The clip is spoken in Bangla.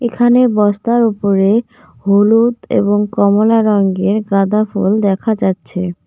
এখানে বস্তার ওপরে হলুদ এবং কমলা রঙ্গের গাঁদাফুল দেখা যাচ্ছে।